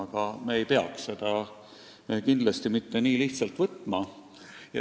Aga me ei tohiks seda kindlasti mitte nii lihtsalt võtta.